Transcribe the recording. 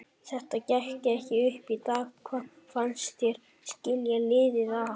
Þetta gekk ekki upp í dag, hvað fannst þér skilja liðin að?